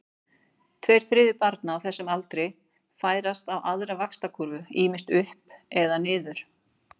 Tveir þriðju barna á þessum aldri færast á aðra vaxtarkúrfu, ýmist upp eða niður.